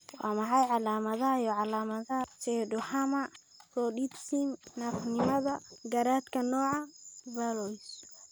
Waa maxay calaamadaha iyo calamadaha lab ee pseudohermaphroditism naafanimada garaadka, nooca Verloes?